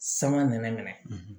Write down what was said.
Sama nɛnɛ minɛ